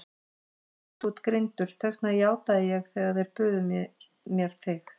Ég veit að þú ert greindur, þess vegna játaði ég þegar þeir buðu mér þig.